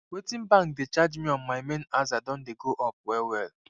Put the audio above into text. wetin bank dey charge me on my main aza don dey go up well well